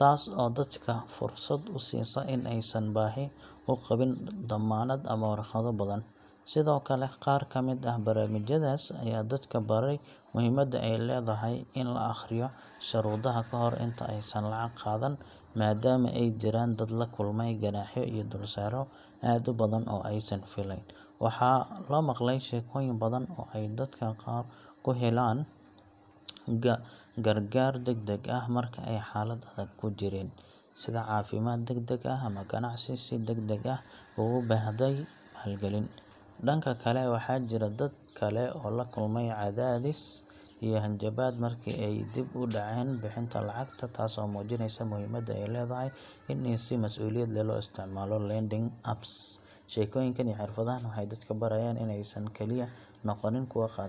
taas oo dadka fursad u siisa in aysan baahi u qabin dammaanad ama warqado badan. Sidoo kale, qaar ka mid ah barnaamijyadaas ayaa dadka baray muhiimadda ay leedahay in la akhriyo shuruudaha kahor inta aysan lacag qaadan, maadaama ay jiraan dad la kulmay ganaaxyo iyo dulsaaryo aad u badan oo aysan fileyn. Waxaa la maqlay sheekooyin badan oo ay dadka qaar ku heleen gargaar degdeg ah marka ay xaalad adag ku jireen, sida caafimaad degdeg ah ama ganacsi si degdeg ah ugu baahday maalgelin. Dhanka kale, waxaa jira dad kale oo la kulmay cadaadis iyo hanjabaad markii ay dib u dhaceen bixinta lacagta, taasoo muujineysa muhiimadda ay leedahay in si mas’uuliyad leh loo isticmaalo lending apps. Sheekooyinkan iyo xirfadahan waxay dadka barayaan inaysan kaliya noqonin kuwa qaata deyn, balse ay noqdaan kuwa si miyir leh u qorsheeya maaliyadooda.